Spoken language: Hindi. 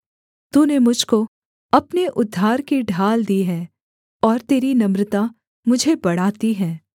तूने मुझ को अपने उद्धार की ढाल दी है और तेरी नम्रता मुझे बढ़ाती है